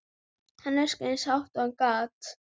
Hann öskraði eins hátt og hann gat.